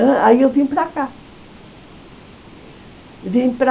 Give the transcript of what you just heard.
Vim para cá, vim para